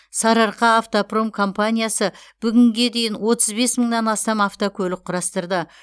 сарыарқаавтопром компаниясы бүгінге дейін отыз бес мыңнан астам автокөлік құрастырды